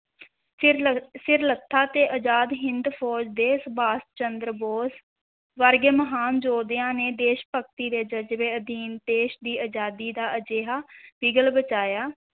ਸਿਰਲੱ~ ਸਿਰਲੱਥਾਂ ਤੇ ਅਜ਼ਾਦ ਹਿੰਦ ਫ਼ੌਜ ਦੇ ਸੰਭਾਸ਼ ਚੰਦਰ ਬੋਸ ਵਰਗੇ ਮਹਾਨ ਯੋਧਿਆਂ ਨੇ ਦੇਸ਼-ਭਗਤੀ ਦੇ ਜਜ਼ਬੇ ਅਧੀਨ ਦੇਸ਼ ਦੀ ਅਜ਼ਾਦੀ ਦਾ ਅਜਿਹਾ ਬਿਗਲ ਵਜਾਇਆ,